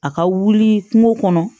A ka wuli kungo kɔnɔ